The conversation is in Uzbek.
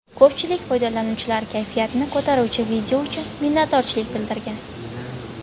Ko‘pchilik foydalanuvchilar kayfiyatni ko‘taruvchi video uchun minnatdorchilik bildirgan.